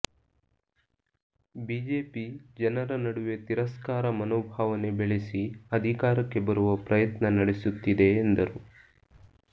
BJP ಜನರ ನಡುವೆ ತಿರಸ್ಕಾರ ಮನೋಭಾವನೆ ಬೆಳೆಸಿ ಅಧಿಕಾರಕ್ಕೆ ಬರುವ ಪ್ರಯತ್ನ ನಡೆಸುತ್ತಿದೆ ಎಂದರು